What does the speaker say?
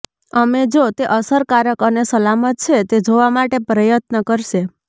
અમે જો તે અસરકારક અને સલામત છે તે જોવા માટે પ્રયત્ન કરશે